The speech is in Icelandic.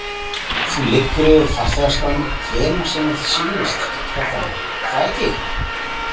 Þú liggur yfir farþegaskránni hvenær sem þér sýnist, Kjartan, er það ekki?